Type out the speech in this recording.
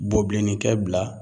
Bobilennikɛ bila